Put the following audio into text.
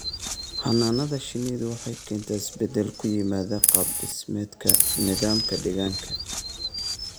Xannaanada shinnidu waxay keentaa isbeddel ku yimaada qaab-dhismeedka nidaamka deegaanka.